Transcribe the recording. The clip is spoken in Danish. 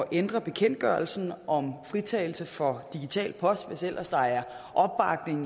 ændre bekendtgørelsen om fritagelse for digital post hvis ellers der er opbakning